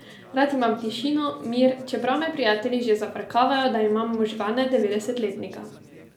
Rad imam tišino, mir, čeprav me prijatelji že zafrkavajo, da imam možgane devetdesetletnika.